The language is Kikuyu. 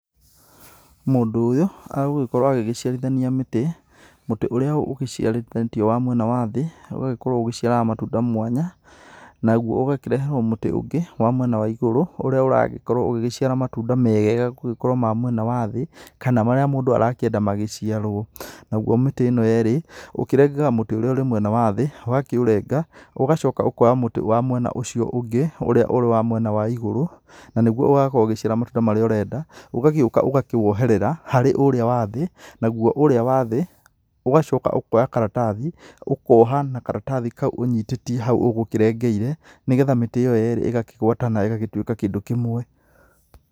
Mũndũ ũyũ agũgĩkorwo agĩgĩciarithania mĩtĩ, mũtĩ ũrĩa ũgĩcĩarithanĩtio wa mwena wa thĩ ũgagĩkorwo ũgĩciaraga matunda mwanya naguo ũgakĩreherwo mũtĩ ũngĩ wa mwena wa igũrũ ũrĩa ũragĩkorwo ũgĩgĩciara matunda mega gũgĩkorwo ma mwena wa thĩ, kana marĩa mũndũ arakĩenda magĩcĩarwo. Naguo mĩtĩ ĩno yerĩ ũkĩrengaga mũtĩ ũrĩa wĩ mwena wa thĩ, ũgakĩũrenga ũgacoka ũkoya mũtĩ wa mwena wa ũcio ũngĩ ũrĩa ũrĩ wa mwena wa ĩgũrũ, na nĩguo ũgakorwo ũgĩcĩara matunda marĩa ũrenda. Ũgagĩũka ũgakĩwoherera harĩ ũrĩa wa thĩ, naguo ũrĩa wa thĩ, ũgacoka ũkoya karatathi ũkoha na karatathi kau ũnyitĩtie hau ũgũkĩrengeire, nĩgetha mĩtĩ ĩyo yerĩ ĩgakĩgwatana ĩgagĩtuĩka kĩndũ kĩmwe.